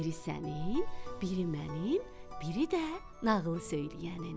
Biri sənin, biri mənim, biri də nağıl söyləyənin.